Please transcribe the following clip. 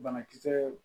Banakisɛ